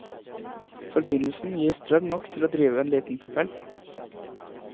Forbindelsen gir strøm nok til å drive en liten propell.